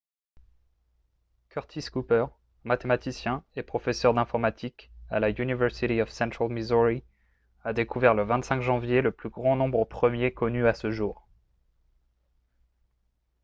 curtis cooper mathématicien et professeur d'informatique à la university of central missouri a découvert le 25 janvier le plus grand nombre premier connu à ce jour